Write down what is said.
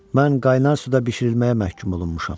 Mən qaynar suda bişirilməyə məhkum olunmuşam.